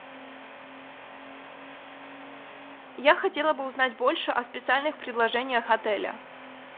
я хотела бы узнать больше о специальных предложениях отеля